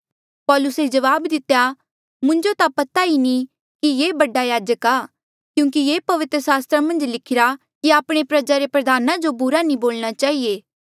पौलुसे जवाब दितेया मुंजो ता पता ई नी कि ये बडा याजक आ क्यूंकि ये पवित्र सस्त्रा मन्झ लिखिरा की आपणी प्रजा रे प्रधाना बुरा नी बोलणा चहिए